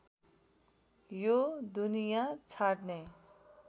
यो दुनिया छाड्ने